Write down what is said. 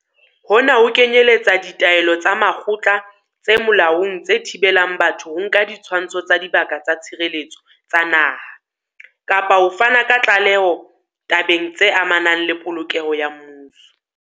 Hona ho kenyeletsa ditaelo tsa makgotla tse molaong tse thibelang batho ho nka ditshwantsho tsa Dibaka tsa Tshireletso tsa Naha, kapa ho fana ka tlaleho tabeng tse amanang le polokeho ya mmuso.